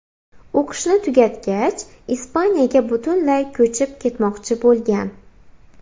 O‘qishni tugatgach Ispaniyaga butunlay ko‘chib ketmoqchi bo‘lgan.